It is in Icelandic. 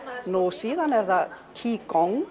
síðan er það qi Gong